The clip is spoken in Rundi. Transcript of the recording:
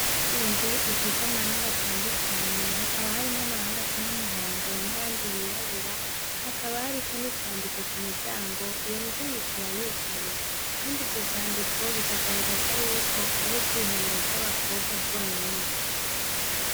Inzu isize amarangi atandukanye hakaba harimwo amarangi asa n'umuhondo n'ayandi yirabura hakaba hariko n'ivyandiko ku miryango, iyo miryango ikaba yugaye. Kandi ivyo vyandiko bikagaragaza yuko ari ubwiherero bw'abakobwa bonyene.